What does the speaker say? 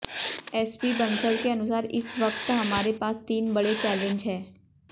SP Bansal के अनुसार इस वक्त हमारे पास तीन बड़े चैलेंज हैं